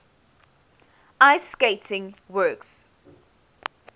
ice skating works